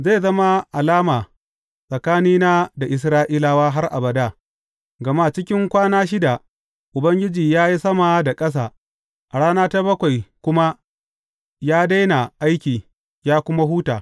Zai zama alama tsakanina da Isra’ilawa har abada, gama cikin kwana shida Ubangiji ya yi sama da ƙasa, a rana ta bakwai kuma ya daina aiki, ya kuma huta.’